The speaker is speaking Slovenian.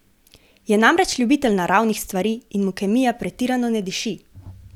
Je namreč ljubitelj naravnih stvari in mu kemija pretirano ne diši.